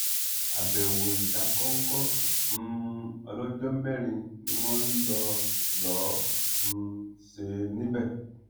àbẹwò ìdákọńkọ um ọlọjọ mẹrin ni wọn lọ lọọ um ṣe níbẹ